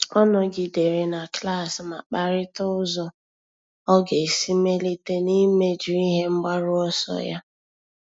Ọ́ nọ́gídèrè na klas ma kparịta ụ́zọ́ ọ́ga esi mèlíté n’íméjú ihe mgbaru ọsọ ya.